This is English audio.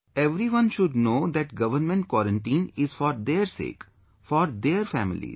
Everyone should know that government quarantine is for their sake; for their families